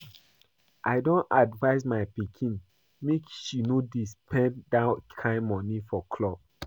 I don advice my pikin make she no dey spend dat kin money for club